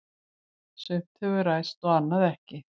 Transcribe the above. Sumt hefur ræst og annað ekki.